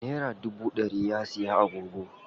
Nera dubu ɗari ya siya agogo.